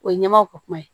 O ye ɲɛmaw ko kuma ye